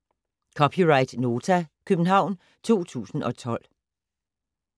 (c) Nota, København 2012